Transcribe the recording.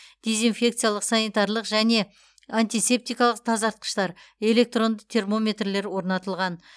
дезинфекциялық санитарлық және антисептикалық тазартқыштар электронды термометрлер орнатылған